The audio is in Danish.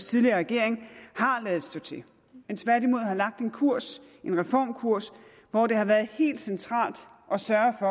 tidligere regering har ladet stå til men tværtimod har lagt en kurs en reformkurs hvor det har været helt centralt at sørge